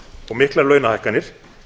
og miklar launahækkanir